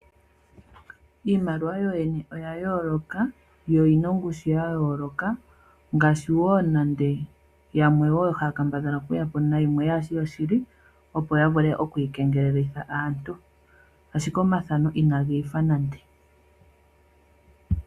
Iimaliwa yoyene oya yooloka yo oyina ongushu ya yooloka ngaashi yamwe haya kambadhala okuyapo nayimwe kayishi yoshili opo yavule okuyi kengelelitha aantu ashike omathano inagi ifa nande.